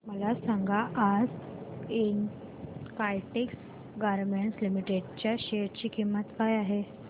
मला सांगा आज काइटेक्स गारमेंट्स लिमिटेड च्या शेअर ची किंमत काय आहे